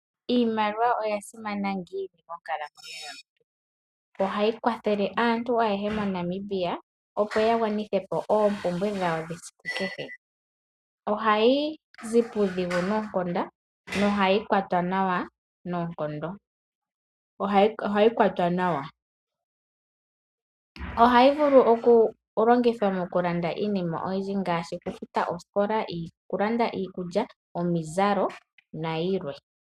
Iimaliwa oya simana ngiini monkalamweyo yomuntu? Ohayi kwathele aantu ayehe moNamibia opo ya gwanithepo oompumbwe dhawo dhesiku kehe. Ohayi zi puudhigu noonkondo nohayi kwatwa nawa noonkondo. Ohayi kwatwa nawa. Ohayi vulu okulongithwa mokulanda iinima oyindji ngaashi okufuta oosikola, okulanda iikulya, omizalo nayilwe.